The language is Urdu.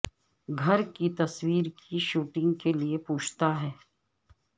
گھر کی تصویر کی شوٹنگ کے لئے پوچھتا ہے